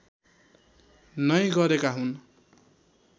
नै गरेका हुन्